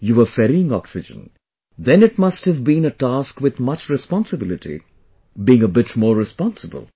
you were ferrying oxygen... then it must have been a task with much responsibility; being a bit more responsible